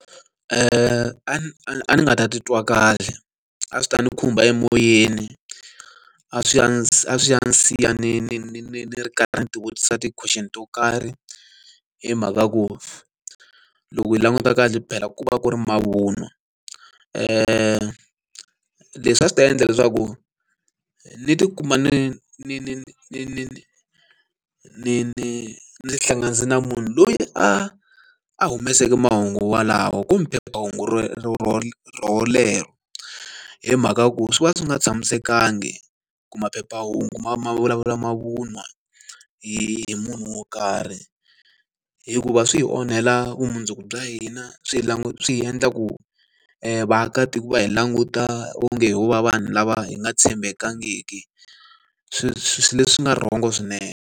A a a ni nga ta titwa kahle, a swi ta ni khumba emoyeni, a swi ya a swi ya ni siya ni ni ni ni ri karhi ndzi ti vutisa ti-question to karhi. Hi mhaka ku loko hi languta kahle phela ku va ku ri mavun'wa. Leswi a swi ta endla leswaku ni ti kuma ni ni ni ni ni ni ni ti hlanganisa na munhu loyi a a humeseke mahungu lawawo kumbe hungu relero. Hi mhaka ya ku swi va swi nga tshamisekanga ku maphephahungu ma ma vulavula mavun'wa hi hi munhu wo karhi, hikuva swi hi onhela vumundzuku bya hina, swi hi swi hi endla ku vaakatiko va hi languta onge hi ho va vanhu lava hi nga tshembekangiki leswi nga wrong-o swinene.